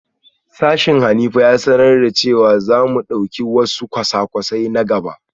Sashen Hanifa ya sanar da cewa za mu dauki wasu kwasa-kwasai na gaba